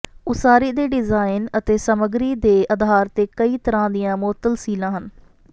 ਉਸਾਰੀ ਦੇ ਡਿਜ਼ਾਈਨ ਅਤੇ ਸਾਮੱਗਰੀ ਦੇ ਆਧਾਰ ਤੇ ਕਈ ਤਰਾਂ ਦੀਆਂ ਮੁਅੱਤਲ ਸੀਲਾਂ ਹਨ